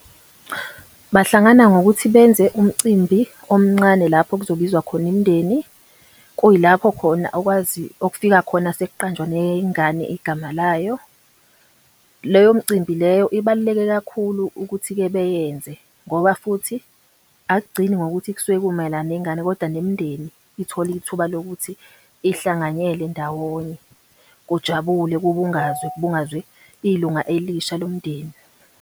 Bahlangana ngokuthi benze umcimbi omncane lapho kuzobizwa khona imindeni, kuyilapho khona okwazi okufika khona sekuqanjwa nengane igama layo. Leyo mcimbi leyo ibaluleke kakhulu ukuthi-ke beyenze, ngoba futhi akugcini ngokuthi kusuke kumayelana nengane kodwa nemindeni ithola ithuba lokuthi ihlanganyele ndawonye, kujabule kubungazwe, kubungazwe ilunga elisha lomndeni.